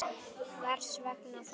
Hvers vegna þá?